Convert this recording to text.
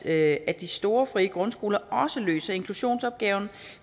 at de store frie grundskoler også løser inklusionsopgaven